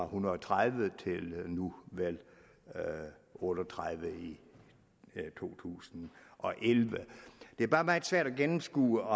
hundrede og tredive til nu vel otte og tredive i to tusind og elleve det er bare meget svært at gennemskue